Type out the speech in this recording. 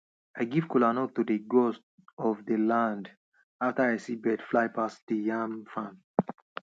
i give kolanut to dey gods of dey land after i see birds fly pass de yam farm